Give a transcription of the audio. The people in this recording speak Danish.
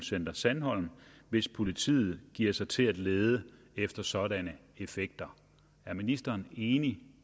center sandholm hvis politiet giver sig til at lede efter sådanne effekter er ministeren enig